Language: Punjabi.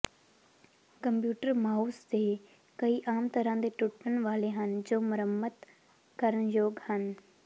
ਕੰਪਿਊਟਰ ਮਾਊਸ ਦੇ ਕਈ ਆਮ ਤਰ੍ਹਾਂ ਦੇ ਟੁੱਟਣ ਵਾਲੇ ਹਨ ਜੋ ਮੁਰੰਮਤ ਕਰਨ ਯੋਗ ਹਨ